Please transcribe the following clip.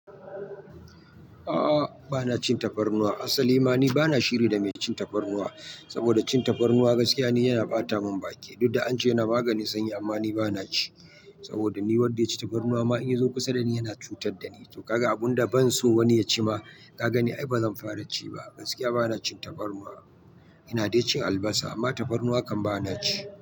A'a bana cin tafarnuwa, asa limani bana shiri da mai cin tafarnuwa, saboda cin tafarnuwa gaskiya ne yana ɓata mun baki, duk da an ce yana maganin sanyi amma ni bana ci, saboda ni wadda ya ci tafarnuwa ma in ya zo kusa da ni yana cutar da ni, to kaga abun da ban so wani ya ci ma ka gani ai bazan fara ci ba, gaskiya bana cin tafarnuwa. Ina dai cin albasa amma tafarnuwa kam bana ci.